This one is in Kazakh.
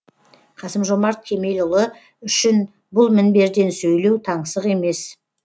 қасым жомарт кемелұлы үшін бұл мінберден сөйлеу таңсық емес